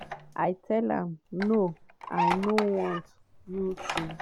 “i tell am ‘no i no want you to’.